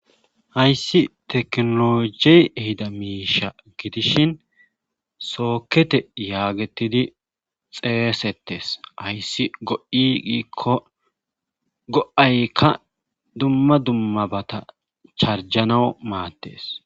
Hayssi teknoloji ehida miisha gidishin sookete yaagettidi xeesettes hayssi go'i giikko go'aykka dumma dummabata charjanawu maattes.